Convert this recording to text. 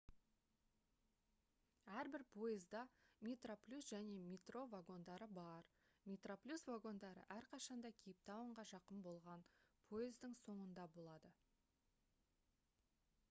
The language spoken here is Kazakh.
әрбір пойызда metroplus және metro вагондары бар metroplus вагондары әрқашанда кейптаунға жақын болған пойыздың соңында болады